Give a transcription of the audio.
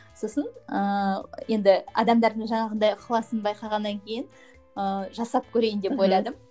сосын ыыы енді адамдардың жаңағындай ықыласын байқағаннан кейін ыыы жасап көрейін деп ойладым